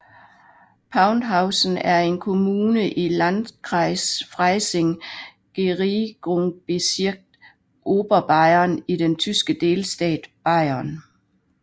Paunzhausen er en kommune i Landkreis Freising Regierungsbezirk Oberbayern i den tyske delstat Bayern